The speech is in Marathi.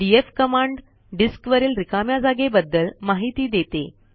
डीएफ कमांड डिस्क वरील रिकाम्या जागेबद्दल माहिती देते